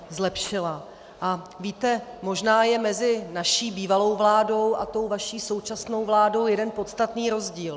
A víte, možná je mezi naší bývalou vládou a tou vaší současnou vládou jeden podstatný rozdíl.